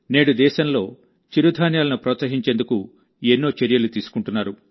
నేడు దేశంలో చిరుధాన్యాలను ప్రోత్సహించేందుకు ఎన్నో చర్యలు తీసుకుంటున్నారు